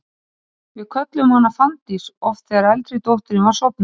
Við kölluðum hana Fanndís oft þegar eldri dóttirin var sofnuð.